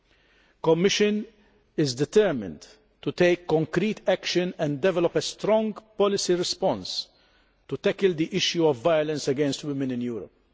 The Commission is determined to take concrete action and develop a strong policy response to tackle the issue of violence against women in Europe.